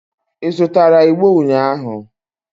Ị zụtara igbo ụnyahụ?